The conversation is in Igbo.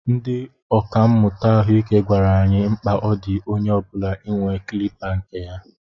Ndị ọkà mmụta ahụike gwara anyị mkpa ọ dị onye ọbula inwe kilipa kne ya.